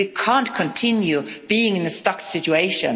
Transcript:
We can't continue being in a stuck situation.